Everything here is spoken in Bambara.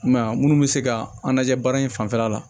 I m'a ye a munnu bɛ se ka an lajɛ baara in fanfɛla la